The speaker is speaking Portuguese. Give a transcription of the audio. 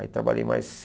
Aí trabalhei mais